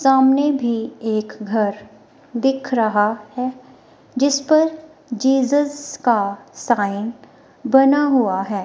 सामने भी एक घर दिख रहा है जिस पर जीजस का साइन बना हुआ है।